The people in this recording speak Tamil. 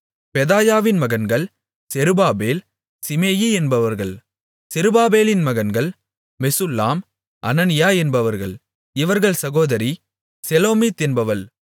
பெதாயாவின் மகன்கள் செருபாபேல் சீமேயி என்பவர்கள் செருபாபேலின் மகன்கள் மெசுல்லாம் அனனியா என்பவர்கள் இவர்கள் சகோதரி செலோமீத் என்பவள்